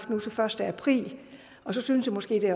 den første april så synes jeg måske det